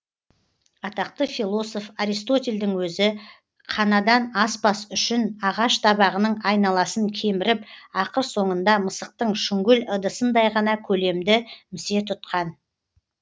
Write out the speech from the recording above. атақты философ аристотельдің өзі қанадан аспас үшін ағаш табағының айналасын кеміріп ақыр соңында мысықтың шүңгіл ыдысындай ғана көлемді місе тұтқан